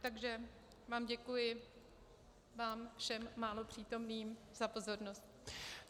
Takže vám děkuji, vám všem málo přítomným, za pozornost.